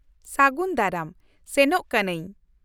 -ᱥᱟᱹᱜᱩᱱ ᱫᱟᱨᱟᱢ ᱾ ᱥᱮᱱᱚᱜ ᱠᱟᱹᱱᱟᱹᱧ!